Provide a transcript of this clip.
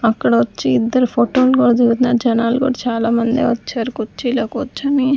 అక్కడ వచ్చి ఇద్దరు ఫోటోల్ కూడా దిగుతున్నారు జనాలు కూడా చాలామంది వచ్చారు కుర్చీలో కూర్చొని--